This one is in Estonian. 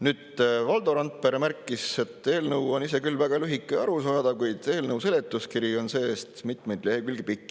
Nüüd, Valdo Randpere märkis, et eelnõu on ise küll väga lühike ja arusaadav, kuid eelnõu seletuskiri on see-eest mitu lehekülge pikk.